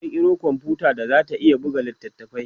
za'a kirkiro komfuta da zata iya buga littafai